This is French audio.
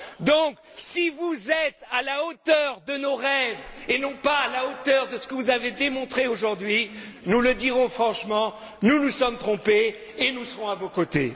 Donc, si vous êtes à la hauteur de nos rêves, et non pas à la hauteur de ce que vous avez démontré aujourd'hui, nous dirons franchement que nous nous sommes trompés, et nous serons à vos côtés.